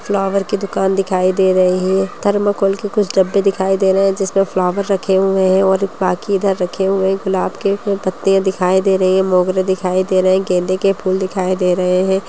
Flower की दुकान दिखाई दे रही है थर्मकोल के कुछ डब्बे दिखाई दे रहे हैं जिसमें फ्लाउअर रखे हुए हैं और बाकी इधर रखे हुए हैं गुलाब के इसमें पत्तियां दिखाई दे रही है मोगरे दिखाई दे रहे हैं गेंदे के फूल दिखाई दे रहे हैं ।